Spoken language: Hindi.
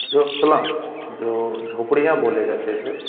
जो सलाम जो झोपड़ियाँ बोले --